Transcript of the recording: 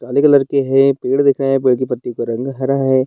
काले कलर के हैं पेड़ दिख रहे हैं पेड़ के पत्तियों का रंग हरा है।